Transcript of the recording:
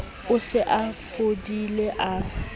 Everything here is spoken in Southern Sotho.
o se o fodile a